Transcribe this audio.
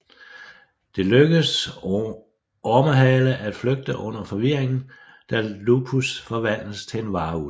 Det lykkes Ormehale at flygte under forvirringen da Lupus forvandles til en varulv